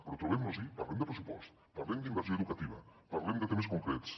però trobem nos hi parlem de pressupost parlem d’inversió educativa parlem de temes concrets